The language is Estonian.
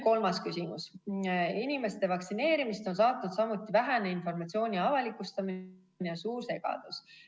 Kolmas küsimus: "Eesti inimeste vaktsineerimist on saatnud samuti vähene informatsiooni avalikustamine ja suur segadus.